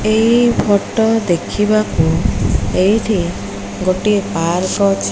ଏଇ ଫଟୋ ଦେଖିବାକୁ ଏଇଠି ଗୋଟିଏ ପାର୍କ ଅଛି।